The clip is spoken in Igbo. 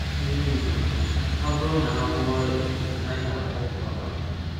Ilu Igbo. Ọ bụru na a gwọọ ọrịa a naghi agwọ agwa.